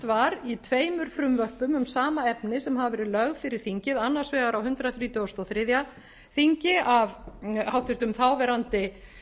var í tveimur frumvörpum um sama efni sem hafa verið lögð fyrir þingið annars vegar á hundrað þrítugasta og fyrsta þingi af háttvirtur þáverandi